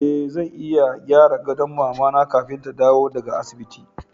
E, zan iya gyara gadon mama na kafin ta dawo daga asibiti.